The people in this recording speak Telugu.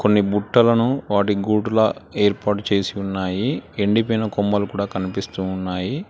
కొన్ని బుట్టలను వాటి గూడుల ఏర్పాటు చేసి ఉన్నాయి ఎండిపోయిన కొమ్మలు కూడా కనిపిస్తూ ఉన్నాయి.